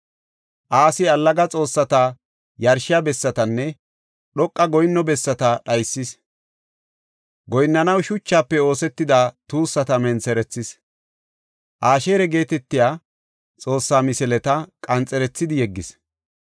Asi allaga xoossatas yarshiya bessatanne dhoqa goyinno bessata dhaysis. Goyinnanaw shuchafe oosetida tuussata mentherethis. Asheera geetetiya Xoossa misileta qanxerethidi yeggis.